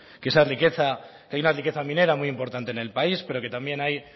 que hay una riqueza muy importante en el país pero que también hay